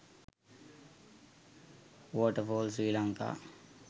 waterfall sri lanka